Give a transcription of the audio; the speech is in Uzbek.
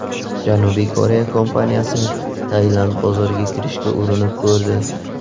Janubiy Koreya kompaniyasi Tailand bozoriga kirishga urinib ko‘rdi.